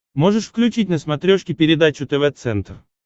можешь включить на смотрешке передачу тв центр